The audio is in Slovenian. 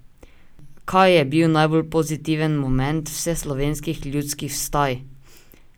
Kaj je bil najbolj pozitiven moment vseslovenskih ljudskih vstaj?